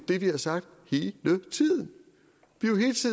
det vi har sagt vi